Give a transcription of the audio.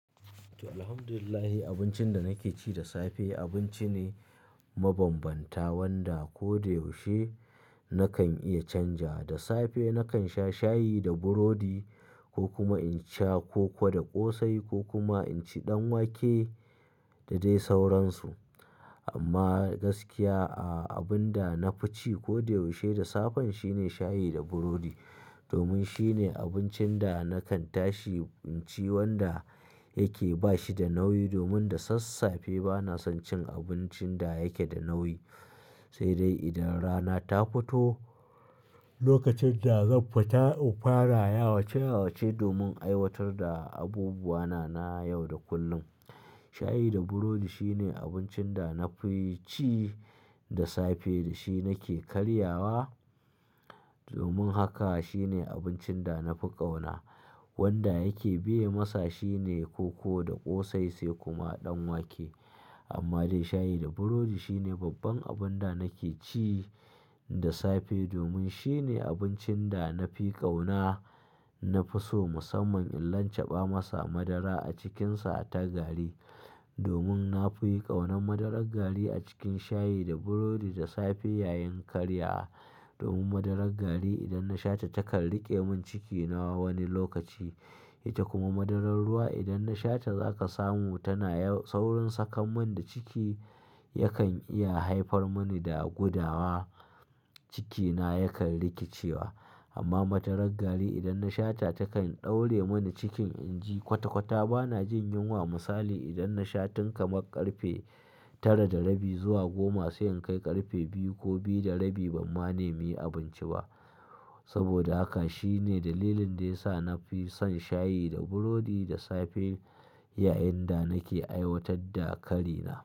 To, Alhamdulillah abincin da nake ci da safe abinci ne mabambanta wanda ko da yaushe nakan iya canja. Da safe nakan sha shayi da burodi ko kuma in sha koko da ƙosai ko kuma in ci ɗanwake da dai sauransu. Amma gaskiya, a-abun da na fi ci ko da yaushe da safe shine shayi da burodi domin shine abincin da nakan tashi in ci wanda yake ba shi da nauyi domin da sassafe bana son cin abincin da yake da nauyi. Sai dai idan rana ta fito, lokacin da zan fita in fara yawace yawace domin aiwatar da abubuwa na na yau da kullum, shayi da burodi shine abincin da na fi ci da safe da shi nake karyawa. Domin haka shine abincin da na fi ƙauna wanda yake biye masa shine koko da ƙosai sai kuma ɗanwake. Amma dai shayi da burodi shine babban abun da nake ci da safe domin shine abincin da na fi ƙauna. Na fi so musamman in lancaɓa masa madara a cikinsa a ta gari domin na fi ƙaunar madarar gari a cikin shayi da burodi da safe yayin karya. Domin madarar gari idan na shata takan riƙe min ciki na wani lokaci. Ita kuma madarar ruwa idan na shata zaka samu tana yau-- saurin saka man da ciki yakan iya haifar mani da gudawa, cikina yakan rikicewa. Amma madarar gari idan na shata takan ɗaure mani cikin inji kwata kwata bana jin yunwa misali idan na sha tun kamar ƙarfe tara da rabi zuwa goma sai in kai ƙarfe biyu ko biyu da rabi ban ma nemi abinci ba. Saboda haka shine dalilin da ya sa na fi son shayi da burodi da safe yayin da nake aiwatar da kari na.